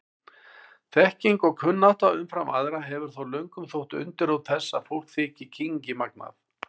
Þekking og kunnátta umfram aðra hefur þó löngum þótt undirrót þess að fólk þyki kynngimagnað.